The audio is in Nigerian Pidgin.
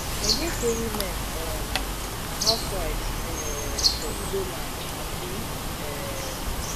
i hear say women um na housewives um for igbo land na true um